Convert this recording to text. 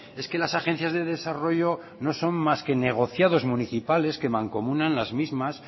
es que las agencias de desarrollo no son más que negociados municipales que mancomunan las mismas